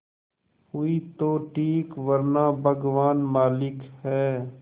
हुई तो ठीक वरना भगवान मालिक है